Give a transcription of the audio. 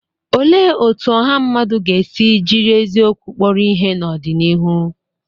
Olee otú ọha mmadụ ga-esi jiri eziokwu kpọrọ ihe n'ọdịnihu?